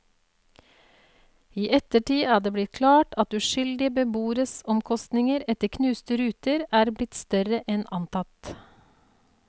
I ettertid er det blitt klart at uskyldige beboeres omkostninger etter knuste ruter er blitt større enn antatt.